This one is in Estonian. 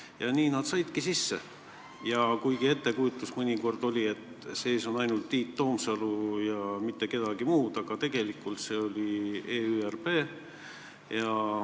Ja nad saidki sisse, kuigi mõnikord oli ettekujutus, et parlamendis oli ainult Tiit Toomsalu ja mitte kedagi muud, aga tegelikult oli see EÜRP.